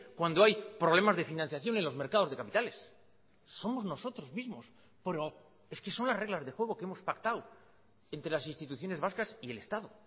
cuando hay problemas de financiación en los mercados de capitales somos nosotros mismos es que son las reglas de juego que hemos pactado entre las instituciones vascas y el estado